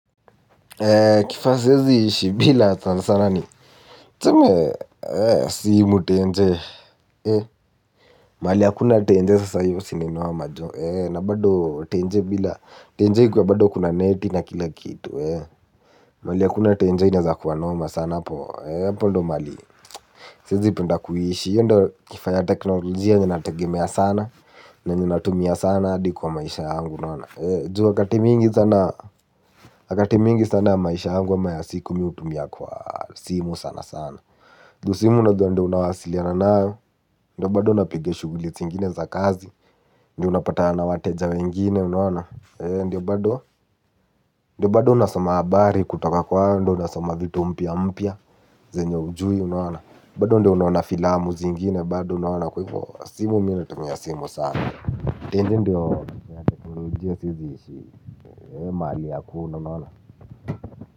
Kifaa siezi ishi bila sana sana ni tuseme si mu tenje. Mahali hakuna tenje sasa iyo si ni noma jo. Na bado tenje bila tenje ikuwe bado kuna neti na kila kitu. Mahali hakuna tenje inaeza kuwa noma sana hapo ndio. Mahali siezi penda kuishi hio ndo kifaa ya teknolojia yenye nategemea sana. Na yenye natumia sana hadi kwa maisha yangu unaona. Juu wakati mingi sana wakati mingi sana maisha yangu ama ya siku mi hutumia kwa simu sana sana ju simu unajua ndio unawasiliana nayo. Ndiyo bado unapiga shughuli zingine za kazi. Ndio unapatana na wateja wengine unaona. Ndiyo bado. Ndiyo bado unasoma habari kutoka kwao ndio unasoma vitu mpya mpya zenye hujui unaona. Bado ndiyo unaona filamu zingine. Bado unaona kwaivo simu mi natumia simu sana. Tenje ndiyo ya teknolojia siezi ishi. Mahali hakuna unaona.